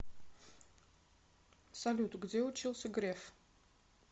салют где учился греф